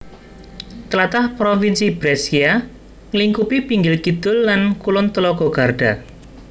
Tlatah Provinsi Brescia nglingkupi pinggir kidul lan kulon telaga Garda